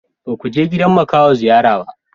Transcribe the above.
Ba ku je gidan makaho ziyara ba?